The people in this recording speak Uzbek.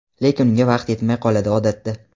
lekin unga vaqt yetmay qoladi odatda.